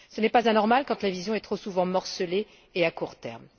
Ce n'est pas anormal quand la vision est trop souvent morcelée et à court terme.